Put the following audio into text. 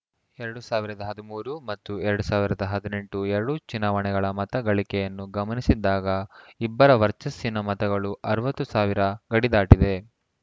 ಎರಡ್ ಸಾವಿರದ ಹದಿಮೂರು ಮತ್ತು ಎರಡ್ ಸಾವಿರದ ಹದಿನೆಂಟು ಎರಡು ಚುನಾವಣೆಗಳ ಮತ ಗಳಿಗೆಯನ್ನು ಗಮನಿಸಿದಾಗ ಇಬ್ಬರ ವರ್ಚಸ್ಸಿನ ಮತಗಳು ಅರವತ್ತು ಸಾವಿರ ಗಡಿದಾಟಿದೆ